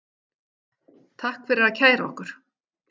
Takk fyrir að kæra okkur